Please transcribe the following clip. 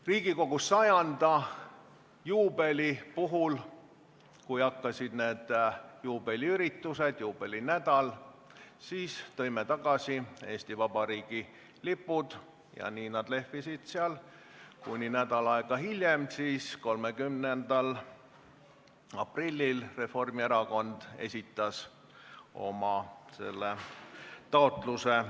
Riigikogu 100 aasta juubeli puhul, kui algasid need juubeliüritused, juubelinädal, tõime Eesti Vabariigi lipud tagasi ja nii nad lehvisid seal, kuni nädal aega hiljem, 30. aprillil Reformierakond esitas selle taotluse.